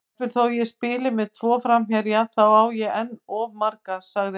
Jafnvel þó ég spili með tvo framherja, þá á ég enn of marga, sagði hann.